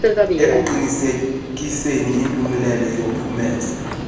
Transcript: ekuqinisekiseni impumelelo yophumezo